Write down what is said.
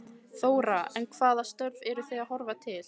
Þóra: En hvaða störf eru þið að horfa til?